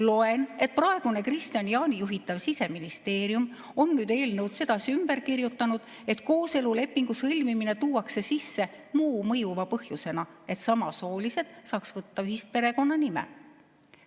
Loen, et praegune Kristian Jaani juhitav Siseministeerium on nüüd eelnõu sedasi ümber kirjutanud, et kooselulepingu sõlmimine tuuakse sisse muu mõjuva põhjusena, et samasoolised saaks võtta ühise perekonnanime.